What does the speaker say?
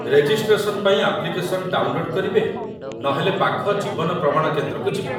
Registration ପାଇଁ application download କରିବେ ନହେଲେ ପାଖ ଜୀବନ ପ୍ରମାଣ କେନ୍ଦ୍ରକୁ ଯିବେ ।